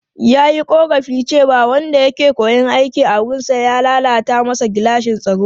Ya yi korafin cewa wanda ya ke koyon aiki a wurinsa ya lalata masa gilashin tsaro.